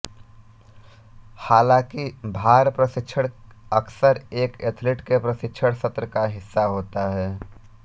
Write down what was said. हालांकि भार प्रशिक्षण अक्सर एक एथलीट के प्रशिक्षण सत्र का हिस्सा होता है